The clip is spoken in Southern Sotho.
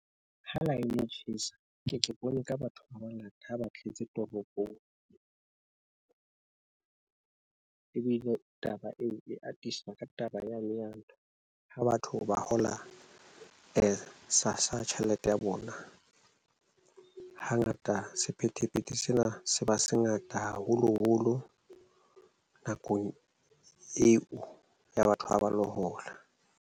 Ha line e tjhesa, nke ke bone ka batho ba bangata ha ba tletse toropong. Ebile taba eo e atisa ka taba ya ntho, ha batho ba hola sassa tjhelete ya bona. Hangata sephethephethe sena se ba se ngata haholoholo nakong eo ya batho ha ba lo hola.